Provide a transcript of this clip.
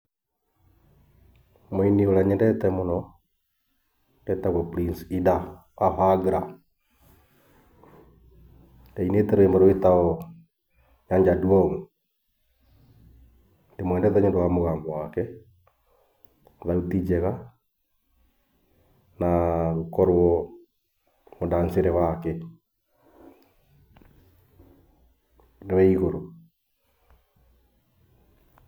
Mũini ũrĩa nyendete mũno etagwo Prince Indah wa Ohangla, na ainĩte rwĩmbo rwĩtagwo Nyar Jaduong. Ndĩmwendete nĩundũ wa mũgambo wake, thauti njega, na gũkorwo mũndanicĩre wake nĩ wĩ igũrũ.